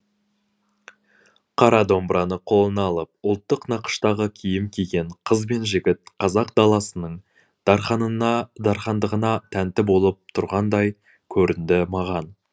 қара домбыраны қолына алып ұлттық нақыштағы киім киген қыз бен жігіт қазақ даласының дархандығына тәнті болып тұрғандай көрінді маған